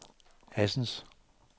Assens